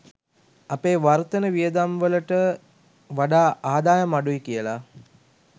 අපේ වර්තන වියදම්වලට වඩා ආදායම් අඩුයි කියලා.